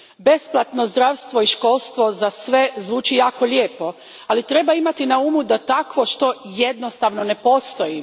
Besplatno zdravstvo i školstvo za sve zvuči jako lijepo, ali treba imati na umu da takvo što jednostavno ne postoji.